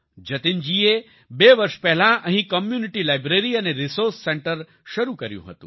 જતિન જી એ બે વર્ષ પહેલાં અહીં community library and resource centre શરૂ કર્યું હતું